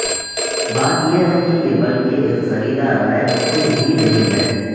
بات یہ ہے کہ یہ بلکہ ایک خریدا رائے کچھ بھی نہیں ہے